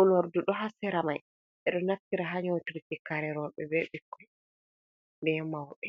unordu ɗo ha sera mai ɓeɗo naftira ha nyotugo je kare roɓe, be ɓikko be mawɓe.